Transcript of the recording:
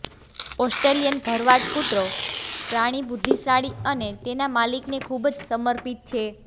Australian ભરવાડ કૂતરો પ્રાણી બુદ્ધિશાળી અને તેના માલિકને ખૂબ જ સમર્પિત છે